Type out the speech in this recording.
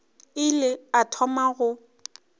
a ile a thoma go